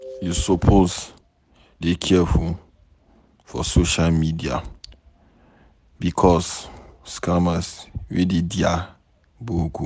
You suppose dey careful for social media bicos scammers wey dey dia boku.